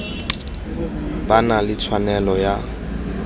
ba na le tshwanelo ya